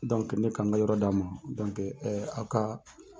ne k'anw be yɔrɔ d'a ma a ka